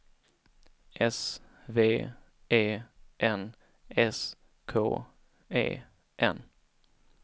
S V E N S K E N